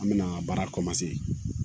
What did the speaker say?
An bɛna baara